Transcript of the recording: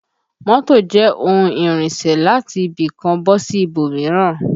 Mọ́tò jẹ́ ohun ìrìnsẹ̀ láti ibì kan bọ́ sí ibòmíràn